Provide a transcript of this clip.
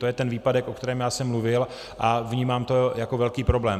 To je ten výpadek, o kterém já jsem mluvil, a vnímám to jako velký problém.